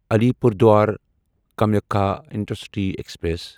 Alipurduar Kamakhya intercity express